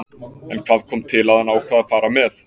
En hvað kom til að hann ákvað að fara með?